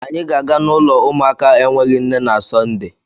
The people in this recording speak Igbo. Anyị ga-aga n'ụlọ ụmụaka enweghị nne na Sọnde.